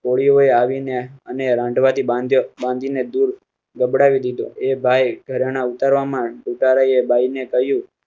કોળીઓ આવીને અને રંડવા થી બાંધી દીધો બાંધીને ગબડાવે દીધો એ ભાઈ ઘણાના ઉતારવા માં ભાઈને કહ્યું.